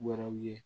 Wɛrɛw ye